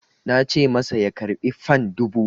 Na ce masa ya karɓi fan dubu!